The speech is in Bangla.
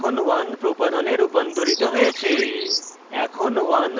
propane এখন 1propanol এ রূপান্তরিত হয়েছে